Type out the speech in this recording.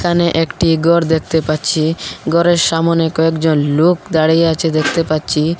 একানে একটি গর দেখতে পাচ্ছি গরের সামোনে কয়েকজন লোক দাঁড়িয়ে আচে দেখতে পাচ্ছি।